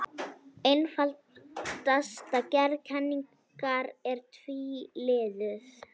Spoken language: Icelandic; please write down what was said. Einfaldasta gerð kenningar er tvíliðuð.